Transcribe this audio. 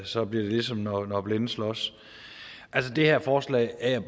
så bliver det ligesom når blinde slås altså det her forslag er jeg